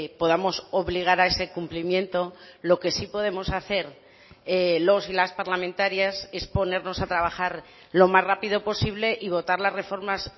podamos obligar a ese cumplimiento lo que sí podemos hacer los y las parlamentarias es ponernos a trabajar lo más rápido posible y votar las reformas